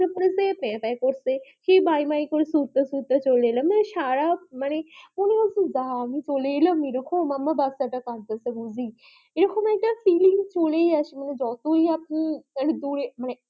তাই করছে সেই বাই বাই করে ছুটতে ছুটতে চলে এলাম সারা রাত কোনো এক যাই চলে এলাম এই রকম আমার বাচ্চা তা কাঁদিতেছে বুজি এই রকম একটা সুমিংফুল এই এলাম এই মানে